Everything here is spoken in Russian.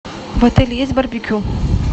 в отеле есть барбекю